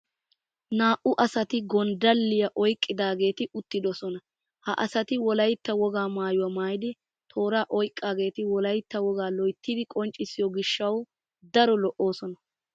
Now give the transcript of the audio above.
Naa"u asati gonddalliya oyqqidaageeti uttidosona. Ha asati wolaytta wogaa maayuwa maayidi tooraa oyqqageeti wolaytta wogaa loyttidi qonccissiyo gishshawu daro lo"oosona.